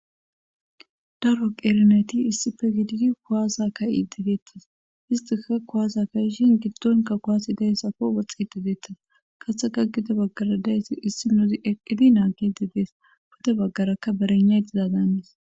daro qerneti issife gididi kuwaasa ka idideettas histika kohaasa ka ishin giddonka kohasi dayssako woxxi i digeettas katheka gida baggara dayssi issi nozi eqqidi naaki didees pode baggarakka berennaytizaadannis